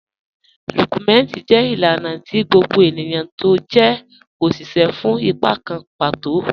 Rikúnmẹntí jẹ́ ilànà tì gbogbo ẹniyan tí ó jẹ́ oṣiṣẹ́ fún ìpà kàn patò.